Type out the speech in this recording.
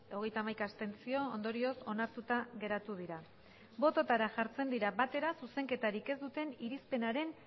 hogeita hamaika abstentzio ondorioz onartuta geratu dira bototara jartzen dira batera zuzenketarik ez duten irizpenaren